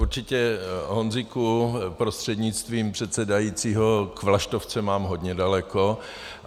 Určitě, Honzíku prostřednictvím předsedajícího, k vlaštovce mám hodně daleko.